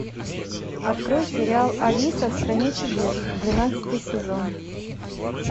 открой сериал алиса в стране чудес двенадцатый сезон